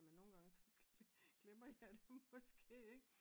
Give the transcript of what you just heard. Ja men nogen gange så glemmer jeg det måske ikke